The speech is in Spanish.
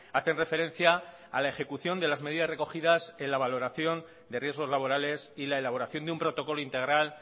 hacen referencia a la ejecución de las medidas recogidas en la valoración de riesgos laborales y la elaboración de un protocolo integral